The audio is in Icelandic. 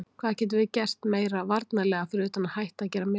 Hvað getum við gert meira varnarlega fyrir utan að hætta að gera mistök?